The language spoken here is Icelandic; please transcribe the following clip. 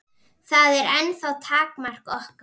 Það er ennþá takmark okkar.